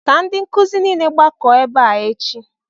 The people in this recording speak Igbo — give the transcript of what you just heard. Ka ndi nkuzi niile gbakọọ ebe a echi!